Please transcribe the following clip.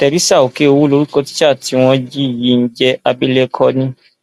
theresa okeowo lorúkọ tísà tí wọn jí yìí ń jẹ abilékọ ni